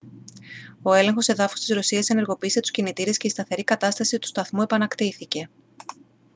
ο έλεγχος εδάφους της ρωσίας ενεργοποίησε τους κινητήρες και η σταθερή κατάσταση του σταθμού επανακτήθηκε